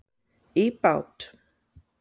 í bát.